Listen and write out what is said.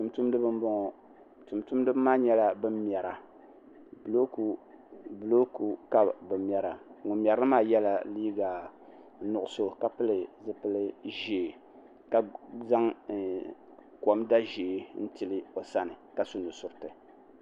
Tumtumdiba m bɔŋɔ tumtumdiba maa nyɛla ban mɛra bulooku ka bɛ mɛra ŋun mɛrili maa yɛla liiga nuɣuso ka pili zupil ʒɛɛ ka zaŋ komda ʒɛɛ n tili o sani